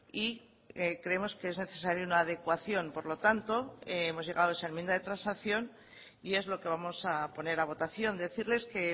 y creemos que es necesario una adecuación por lo tanto hemos llegado a esa enmienda de transacción y es lo que vamos a poner a votación decirles que